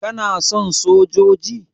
kana son sojoji?